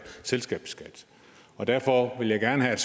selskabsskat og derfor vil jeg gerne have